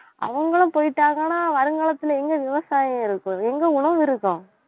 அவங்களும் போயிட்டாங்கன்னா வருங்காலத்தில எங்க விவசாயம் இருக்கும் எங்க உணவு இருக்கும்